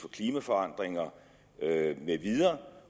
klimaforandringer med videre